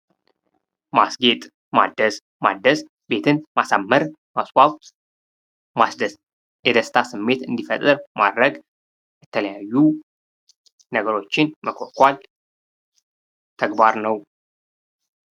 ማስጌጥ ማደስ ማደስ ቤትን ማሳመር ማስዋብ የደስታ ስሜት እንዲፈጥር ማድረግ የተለያዩ ነገሮችን መኳኳል ተግባር ነው።